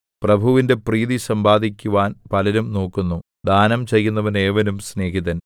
പ്രഭുവിന്റെ പ്രീതി സമ്പാദിക്കുവാൻ പലരും നോക്കുന്നു ദാനം ചെയ്യുന്നവന് ഏവനും സ്നേഹിതൻ